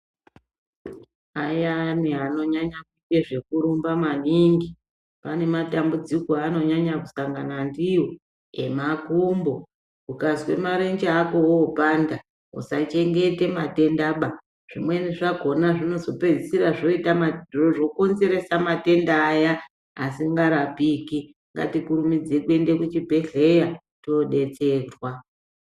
Ayani anonyanya kude zvekurumba maningi, ane matambudziko aanonyanya kusangana ndiwo emakumbo. Ukazwa marenje ako oopanda, usachengete matenda- ba. Zvimweni zvakhona zvozokonzeresa matenda aya asingarapiki. Ngatikurumidze kuenda kuzvibhedhleya tobatsirwa.